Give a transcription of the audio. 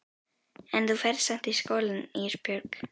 En þú ferð samt í skólann Ísbjörg.